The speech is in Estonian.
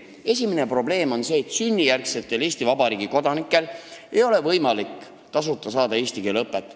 Esimene probleem on see, et sünnijärgsetel Eesti Vabariigi kodanikel ei ole võimalik tasuta saada eesti keele õpet.